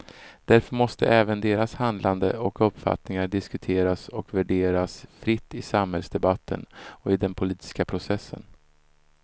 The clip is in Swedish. Därför måste även deras handlande och uppfattningar diskuteras och värderas fritt i samhällsdebatten och i den politiska processen.